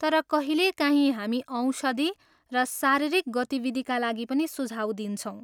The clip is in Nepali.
तर कहिलेकाहीँ हामी औषधि र शारीरिक गतिविधिका लागि पनि सुझाव दिन्छौँ।